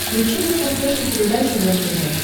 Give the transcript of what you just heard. включи на смотрешке передачу рентв